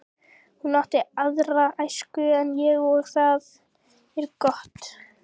Hún átti aðra æsku en ég og það er gott.